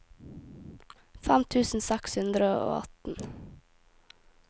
fem tusen seks hundre og atten